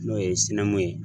N'o ye ye.